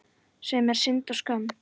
Sem er synd og skömm.